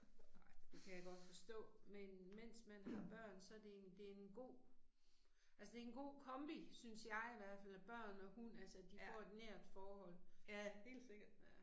Ej, det kan jeg godt forstå, men mens man har børn så det en det en god altså det en god kombi synes jeg i hvert fald af børn og hund at de får et nært forhold